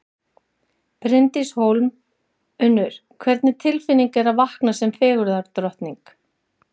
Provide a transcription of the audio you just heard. Bryndís Hólm: Unnur, hvernig tilfinning er að vakna sem fegurðardrottning?